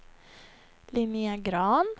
Linnéa Grahn